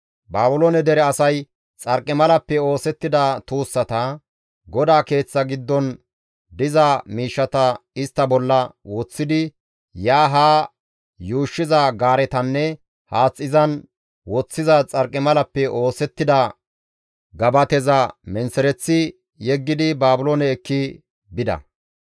Baabiloone dere asay xarqimalappe oosettida tuussata, GODAA Keeththa giddon diza miishshata istta bolla woththidi yaanne haa yuushshiza gaaretanne haath izan woththiza xarqimalappe oosettida gabateza menththereththi yeggidi Baabiloone ekki bida.